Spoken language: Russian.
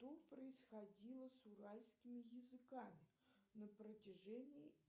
что происходило с уральскими языками на протяжении